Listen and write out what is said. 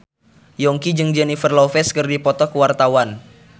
Yongki jeung Jennifer Lopez keur dipoto ku wartawan